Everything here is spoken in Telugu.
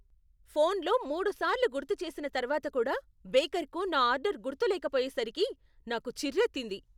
ఫోన్లో మూడు సార్లు గుర్తు చేసిన తర్వాత కూడా బేకర్కు నా ఆర్డర్ గుర్తులేకపోయేసరికి నాకు చిర్రెత్తింది.